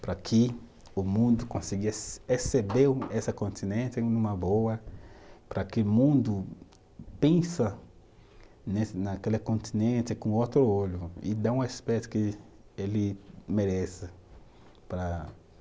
Para que o mundo consiga receber essa continente numa boa, para que o mundo pensa nessa, naquele continente com outro olho e dá uma espécie que ele merece para